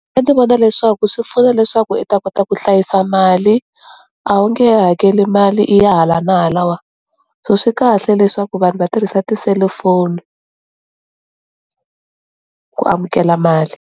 A ndzi vona leswaku swi pfuna leswaku i ta kota ku hlayisa mali a wu nge he hakeli mali i ya hala na halawa, so swi kahle leswaku vanhu va tirhisa tiselufoni ku amukela mali.